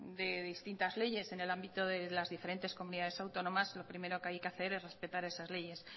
de distintas leyes en el ámbito de las diferentes comunidades autónomas lo primero que hay que hacer es respetar esas leyes